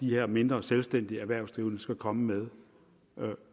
de her mindre selvstændige erhvervsdrivende skal komme med